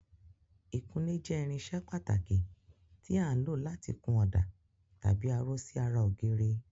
Ìkunlé jẹ́ irinṣẹ́ pàtàkì tí à ń lò láti kun ọ̀dà tàbí aró sí ara ògiri.